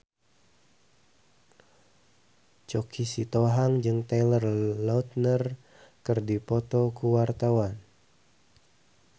Choky Sitohang jeung Taylor Lautner keur dipoto ku wartawan